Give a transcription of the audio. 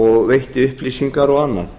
og veitt upplýsingar og annað